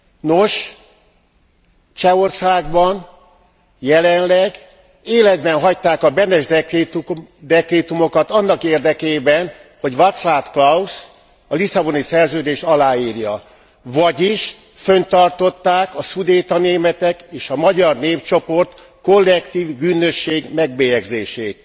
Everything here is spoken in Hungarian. Nos, Csehországban jelenleg életben hagyták a Benes dekrétumokat annak érdekében, hogy Vaclav Klaus a Lisszaboni Szerződést aláírja, vagyis fönntartották a szudéta németek és a magyar népcsoport kollektív bűnösség megbélyegzését.